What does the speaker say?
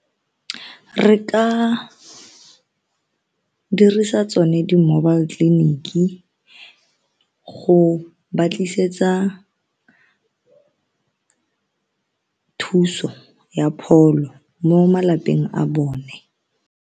Re ka dirisa tsone di mobile tleliniki go ba tlisetsa thuso ya pholo mo malapeng a bone.